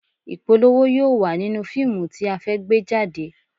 Ìpolówó yóò wà nínú fíìmù tí a fẹ́ gbé jáde